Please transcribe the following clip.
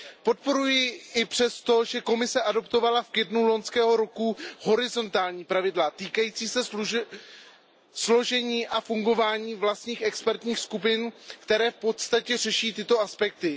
Podporuji ji i přesto, že Komise přijala v květnu loňského roku horizontální pravidla týkající se složení a fungování vlastních expertních skupin, která v podstatě řeší tyto aspekty.